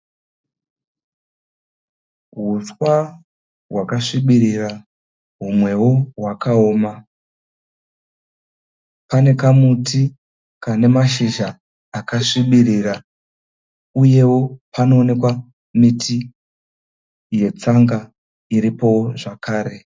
Huswa hwakasvibirira humwewo hwakaoma, pane kamuti kane mashizha akasvibirira uyewo panoonekwa miti yetsanga iripowo zvakare.